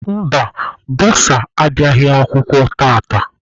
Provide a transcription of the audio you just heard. Mba, bọsa abịaghị akwụkwọ tata.